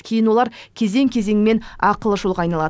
кейін олар кезең кезеңімен ақылы жолға айналады